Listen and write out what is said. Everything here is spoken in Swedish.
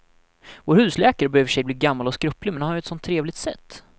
Vår husläkare börjar i och för sig bli gammal och skröplig, men han har ju ett sådant trevligt sätt!